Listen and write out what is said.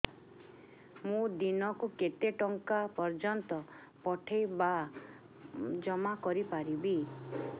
ମୁ ଦିନକୁ କେତେ ଟଙ୍କା ପର୍ଯ୍ୟନ୍ତ ପଠେଇ ବା ଜମା କରି ପାରିବି